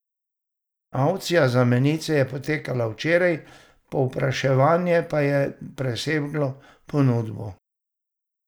Avkcija za menice je potekala včeraj, povpraševanje pa je preseglo ponudbo.